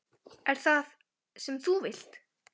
Er það það sem þú vilt?